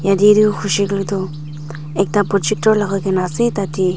Yatheh tuh hoishe kole tuh ekta projector lagaikena ase tatey--